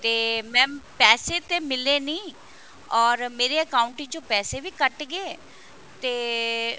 ਤੇ mam ਪੈਸੇ ਤੇ ਮਿਲੇ ਨਹੀਂ or ਮੇਰੇ account ਵਿੱਚੋ ਪੈਸੇ ਵੀ ਕੱਟ ਗਏ ਤੇ